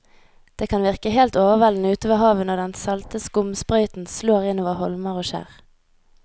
Det kan virke helt overveldende ute ved havet når den salte skumsprøyten slår innover holmer og skjær.